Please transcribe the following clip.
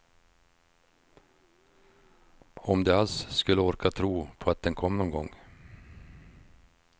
Om de alls skulle orka tro på att den kom någon gång.